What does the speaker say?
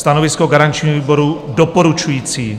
Stanovisko garančního výboru: doporučující.